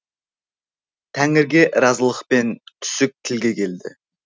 тәңіріге разылықпен түсік тілге келді